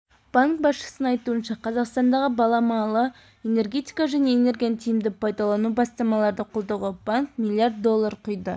банк басшысының айтуынша қазақстандағы баламалы энергетика мен энергияны тиімді пайдалану бастамаларды қолдауға банк миллиард доллар құйды